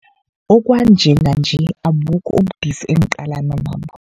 Kwanjenganje abukho ubudisi engiqalana nabo.